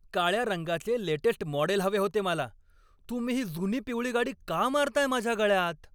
काळ्या रंगाचे latest model हवे होते मला. तुम्ही ही जुनी पिवळी गाडी का मारताय माझ्या गळ्यात?